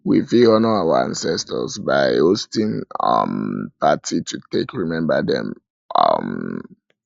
we fit honour our ancestor by ancestor by hosting um party to take remember them um